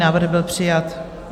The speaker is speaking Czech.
Návrh byl přijat.